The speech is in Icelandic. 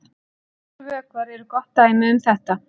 Margir vökvar eru gott dæmi um þetta.